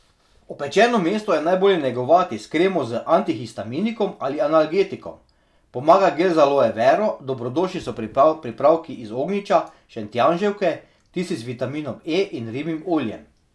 Opečeno mesto je najbolje negovati s kremo z antihistaminikom ali analgetikom, pomaga gel z aloje vero, dobrodošli so pripravki iz ognjiča, šentjanževke, tisti z vitaminom E in ribjim oljem.